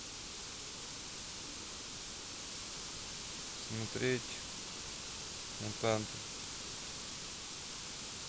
смотреть мутанты